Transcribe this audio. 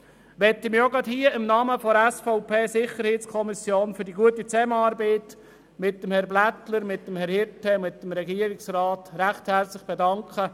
Ich möchte mich im Namen der SVP-SiK-Mitglieder für die gute Zusammenarbeit mit Herrn Blätter, Herrn Hirte und dem Polizeidirektor recht herzlich bedanken.